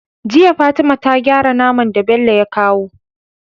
Jiya fatima ta gyara naman da Bello ya kawa